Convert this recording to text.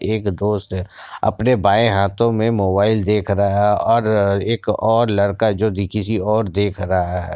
एक दोस्त अपने बाये हाथों मे मोबाईल देख रहा है ओर एक ओर लड़का जो किसी और देख रहा है ।